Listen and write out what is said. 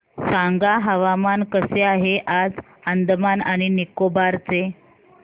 सांगा हवामान कसे आहे आज अंदमान आणि निकोबार चे